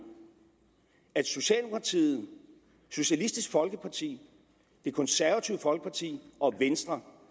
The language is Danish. at socialdemokratiet socialistisk folkeparti det konservative folkeparti og venstre